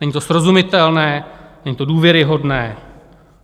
Není to srozumitelné, není to důvěryhodné.